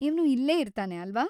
ಇವ್ನು ಇಲ್ಲೇ ಇರ್ತಾನೆ, ಅಲ್ವಾ?